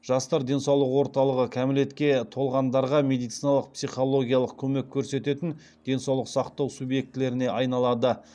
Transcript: жастар денсаулық орталығы кәмелетке толғандарға медициналық психологиялық көмек көрсететін денсаулық сақтау субъектілеріне айналады